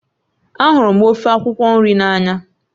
Ahụrụ m ofe akwukwo nri n'anya